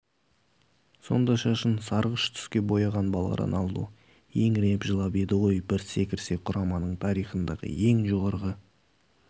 сонда шашын сарғыштүске бояған бала роналду еңіреп жылап еді ғой бір секірсе құраманың тарихындағы ең жоғары